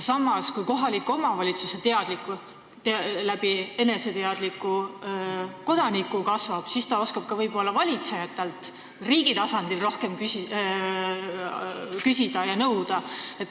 Samas, kui kohaliku omavalitsuse eneseteadlikkus eneseteadlike kodanike abil kasvab, siis ta oskab ka võib-olla valitsejatelt riigi tasandil rohkem küsida ja nõuda.